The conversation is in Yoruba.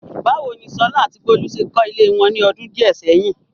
Báwo ni Sola àti Bolu ṣe kọ́ ilé wọn ní ọdún díẹ̀ sẹ́yìn?